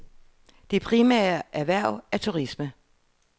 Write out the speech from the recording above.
Det primære erhverv er turisme.